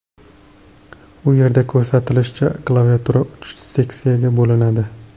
U yerda ko‘rsatilishicha, klaviatura uch seksiyaga bo‘linadi.